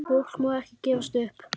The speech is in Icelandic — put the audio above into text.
Fólk má ekki gefast upp.